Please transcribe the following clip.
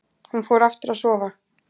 Hún fór aftur að sofa.